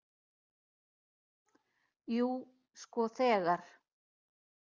Jú, sko þegar.